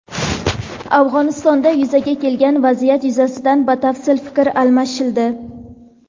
Afg‘onistonda yuzaga kelgan vaziyat yuzasidan batafsil fikr almashildi.